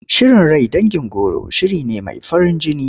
Shirin rai dangin goro shiri ne mai farin jini.